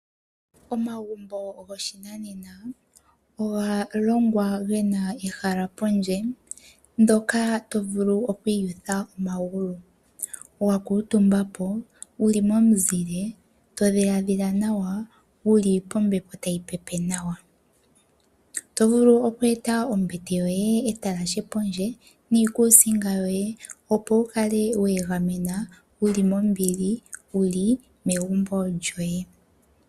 Omagumbo goshinanena oga longwa ge na ehala pondje mpoka to vulu oku iyutha momagulu, wa kuutumba po wu li momuzile, to dhilaadhila nawa, wu li pombepo tayi pepe nawa. Oto vulu oku eta ombete yoye pondje, etalashe niikuusinga yoye, opo wu kale we egamena wu li mombili wu li megumbo lyoye.